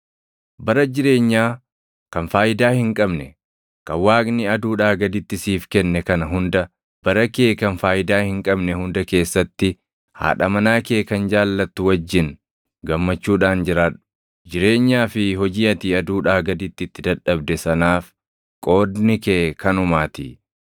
Bara jireenyaa kan faayidaa hin qabne, kan Waaqni aduudhaa gaditti siif kenne kana hunda bara kee kan faayidaa hin qabne hunda keessatti haadha manaa kee kan jaallattu wajjin gammachuudhaan jiraadhu. Jireenyaa fi hojii ati aduudhaa gaditti itti dadhabde sanaaf qoodni kee kanumaatii.